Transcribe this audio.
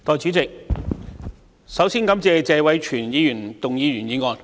代理主席，首先感謝謝偉銓議員動議的原議案。